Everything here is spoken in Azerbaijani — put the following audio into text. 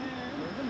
Gördünüz mü?